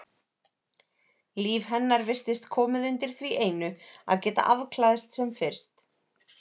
Líf hennar virtist komið undir því einu að geta afklæðst sem fyrst.